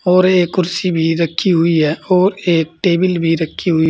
और एक कुर्सी भी रखी हुई है और एक एक टेबिल भी रखी हुई--